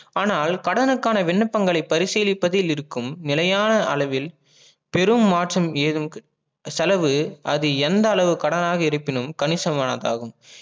ஆனால் கடனுக்கான விண்ணபங்களை பரிசிளிப்பதில் இருக்கும் நிலையான அளவில் பெரும் மாற்றம் ஏதும் செலவு அது எந்த அளவு கடனாக இருப்பினும் கணிசமானதாகும் ஆகும்